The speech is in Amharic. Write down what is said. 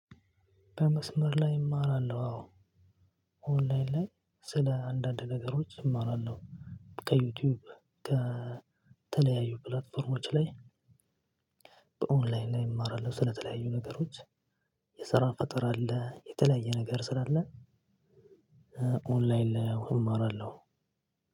በመስመር ላይ እማራለሁ አዎ። ኦንላይን ላይ ስለ አንዳንድ ነገሮች እማራለሁ። ከዩቲዩብ ከተለያዩ ፕላትፎርሞች ላይ። ኦንላይን ላይ እማራለሁ ስለተለያዩ ነገሮች። የስራ ፈጠራ አለ የተለያየ ነገር ስላለ። ኦንላይን ላይ እማራለሁ።